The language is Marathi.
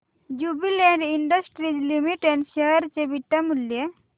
ज्युबीलेंट इंडस्ट्रीज लिमिटेड शेअर चे बीटा मूल्य